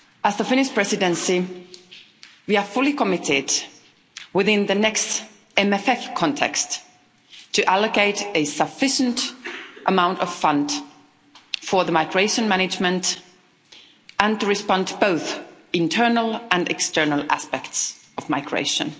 The Finnish Presidency is fully committed, within the next MFF context, to allocate a sufficient amount of funds for migration management and to respond to both the internal and external aspects of migration.